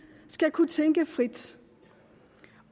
skal kunne tænke frit